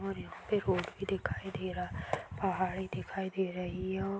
औऱ यहाँ पे रोड भी दिखाई दे रहा पहाड़ी दिखाई दे रही हैं और --